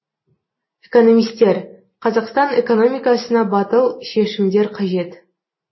экономистер қазақстан экономикасына батыл шешімдер қажет